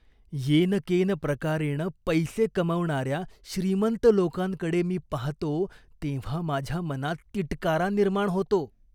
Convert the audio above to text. येनकेन प्रकारेण पैसे कमावणाऱ्या श्रीमंत लोकांकडे मी पाहतो तेव्हा माझ्या मनात तिटकारा निर्माण होतो.